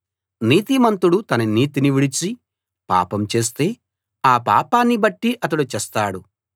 నీతిమంతుడు తన నీతిని విడిచి పాపం చేస్తే ఆ పాపాన్ని బట్టి అతడు చస్తాడు